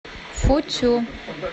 футю